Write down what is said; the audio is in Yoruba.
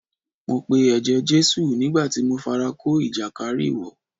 Mo pe ẹ̀jẹ̀ Jésù nígbà tí mo fara kó ìjàkárìwọ̀.